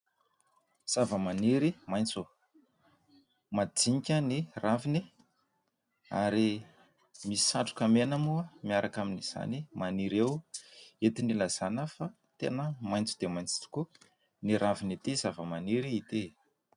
Zava-maniry maintso, madinika ny raviny ary misy satroka mena moa miaraka amin'izany maniry eo entina hilazana fa tena maintso dia maintso tokoa ny ravin'ity zava-maniry ity.